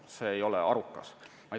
See ei ole arukas.